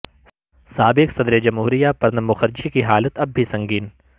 سابق صدر جمہوریہ پرنب مکھرجی کی حالت اب بھی سنگین